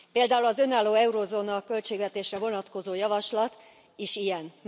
Például az önálló eurózóna költségvetésre vonatkozó javaslat is ilyen.